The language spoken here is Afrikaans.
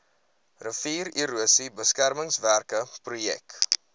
riviererosie beskermingswerke projek